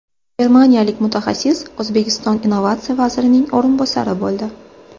Germaniyalik mutaxassis O‘zbekiston innovatsiya vazirining o‘rinbosari bo‘ldi.